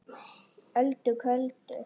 Öldu köldu